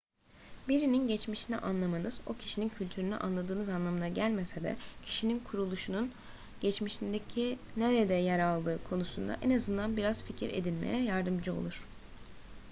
birinin geçmişini anlamanız o kişinin kültürünü anladığınız anlamına gelmese de kişinin kuruluşun geçmişindeki nerede yer aldığı konusunda en azından biraz fikir edinmeye yardımcı olur